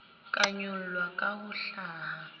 ka ngolwa ka ho hlaha